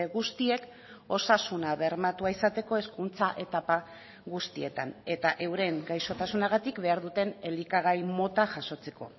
guztiek osasuna bermatua izateko hezkuntza etapa guztietan eta euren gaixotasunagatik behar duten elikagai mota jasotzeko